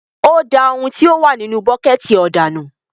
O dà òun tí o wà nínú buketi òdà nù